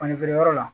Fani feere yɔrɔ la